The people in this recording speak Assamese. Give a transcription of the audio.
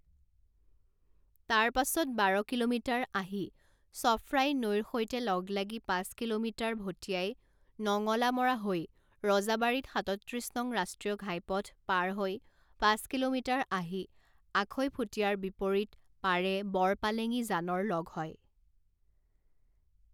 তাৰ পাছত বাৰ কিলোমিটাৰ আহি চফ্ৰাই নৈৰ সৈতে লগ লাগি পাঁচ কিলোমিটাৰ ভটিয়াই নঙলামৰা হৈ ৰজাবাৰীত সাতত্ৰিছ নং ৰাষ্ট্ৰীয় ঘাইপথ পাৰ হৈ পাঁচ কিলোমিটাৰ আহি আখৈফুটীয়াৰ বিপৰীত পাৰে বৰ পালেঙী জানৰ লগ হয়।